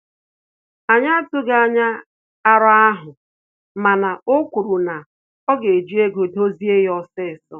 Anyị atughi anya arọ ahụ, mana o kwuru na oga eji ego dozie ya osisọ